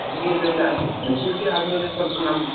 ಅಲ್ಲಿ maturity ಅದಮೇಲೆ ಸ್ವಲ್ಪ ನಮ್ಗ್